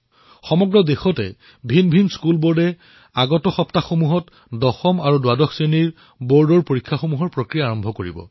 সমগ্ৰ দেশত বিভিন্ন শিক্ষাবৰ্ড আৰু কেইটামান দিনৰ পিছতে দশম তথা দ্বাদশ শ্ৰেণীৰ পৰীক্ষা আৰম্ভ হব